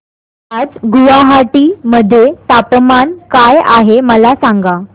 आज गुवाहाटी मध्ये तापमान काय आहे मला सांगा